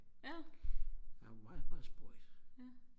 han var meget meget spøjs